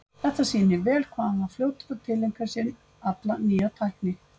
Þetta sýnir vel hvað hann var fljótur að tileinka sér alla nýja tækni.